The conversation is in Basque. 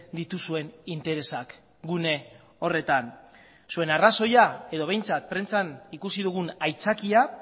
dituzuen interesak gune horretan zuen arrazoia edo behintzat prentsan ikusi dugun aitzakia